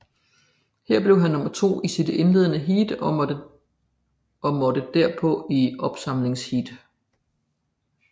Her blev han nummer to i sit indledende heat og måtte derpå i opsamlingsheat